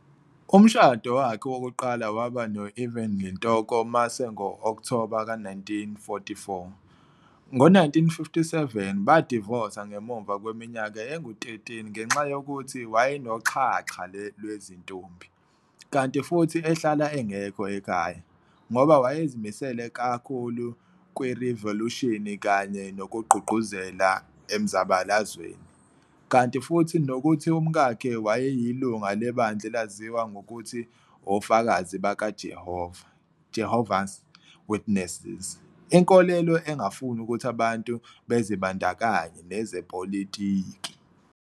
Umshado wakhe wokuqala waba no-Evelyn Ntoko Mase ngo-Okthoba ka 1944, ngo-1957, badivosa ngemuva kweminyaka engu-13 ngenxa yokuthi wayenoxhaxha lwezintombi, kanti futhi ehlala engekho ekhaya, ngoba wayezimisele kakhulu kwirivolushini kanye nokugqugquzela emzabalazweni, kanti futhi nokuthi umkakhe wayeyilunga lebandla elaziwa ngokuthi ofakazi bakaJehova, Jehovah's Witnesses, inkolelo engafuni ukuthi abantu bazibandakanye nezepolitiki.